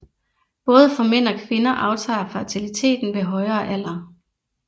Både for mænd og kvinder aftager fertiliteten ved højere alder